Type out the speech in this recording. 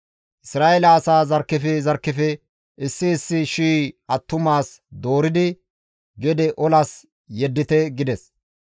Isra7eele asaa zarkkefe zarkkefe issi issi shii attumas dooridi gede olas yeddite» gides.